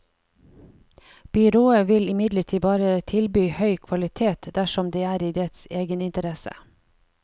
Byrået vil imidlertid bare tilby høy kvalitet dersom det er i dets egeninteresse.